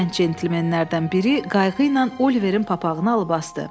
Gənc centlemenlərdən biri qayğı ilə Oliverin papağını alıb asdı.